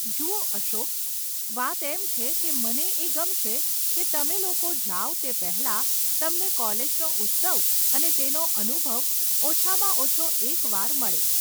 જુઓ અશોક, વાત એમ છે કે મને એ ગમશે કે તમે લોકે જાવ તે પહેલાં તમને કોલેજનો ઉત્સવ અને તેનો અનુભવ ઓછામાં ઓછો એક વાર મળે.